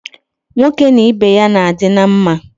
Nwoke na Ibe ya na adi na mma